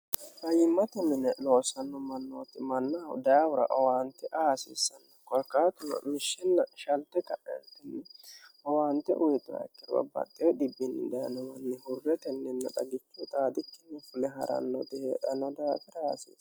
Fayyimmati mine loossanno mannooti mannahu daawira owaante aasiissanno gorkaa turo lushshinna shalte ta'ei owaante uyixoi kirw bxee dbdnownni hurre tenninna xagichi uxaadikti hufule ha'rannoote hee'enno daafi raaasie